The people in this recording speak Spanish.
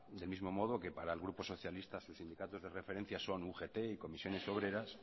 del mismo modo que para el grupo socialista sus sindicatos de referencia son ugt y comisiones obreras